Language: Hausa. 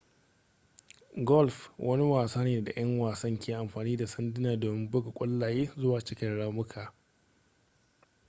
golf wani wasa ne da ƴan wasan ke amfani da sanduna domin buga ƙwallaye zuwa cikin ramuka